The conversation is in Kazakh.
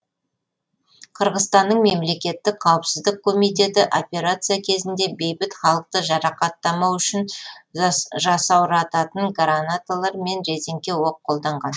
қырғызстанның мемлекеттік қауіпсіздік комитеті операция кезінде бейбіт халықты жарақаттамау үшін жасаурататын гранаталар мен резеңке оқ қолданған